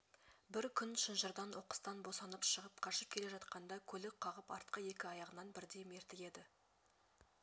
бір күн шынжырдан оқыстан босанып шығып қашып келе жатқанда көлік қағып артқы екі аяғынан бірдей мертігеді